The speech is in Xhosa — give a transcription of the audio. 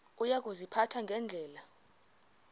uya kuziphatha ngendlela